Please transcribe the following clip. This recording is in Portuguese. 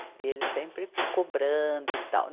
E ele sempre cobrando e tal.